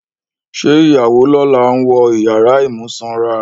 Ṣé ìyàwó lọ́la ń wọ ìyàrá ìmúsanra?